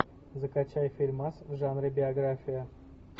закачай фильмас в жанре биография